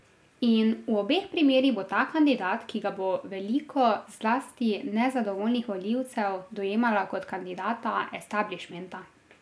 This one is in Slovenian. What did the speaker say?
In v obeh primerih bo ta kandidat, ki ga bo veliko, zlasti nezadovoljnih volivcev dojemalo kot kandidata establišmenta.